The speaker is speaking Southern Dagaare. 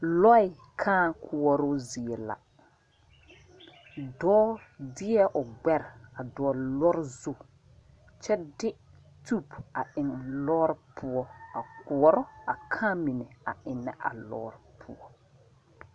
Lɔɛ kaa koɔroo zie la dɔɔ deɛ o gbɛre a dɔgle lɔre zu kyɛ de tube a eŋ lɔɔre poɔ a koɔrɔ a kaa mine eŋnɛ a lɔɔre poɔ.